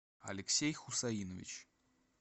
алексей хусаинович